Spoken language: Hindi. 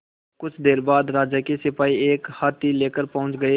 कुछ देर बाद राजा के सिपाही एक हाथी लेकर पहुंच गए